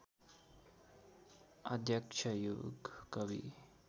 अध्यक्ष युगकवि